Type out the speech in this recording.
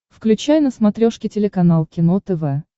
включай на смотрешке телеканал кино тв